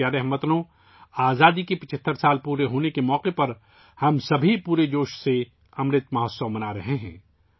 میرے پیارے ہم وطنو، آزادی کے 75 سال مکمل ہونے کے موقع پر ہم سب 'امرت مہوتسو' پورے جوش و خروش کے ساتھ منا رہے ہیں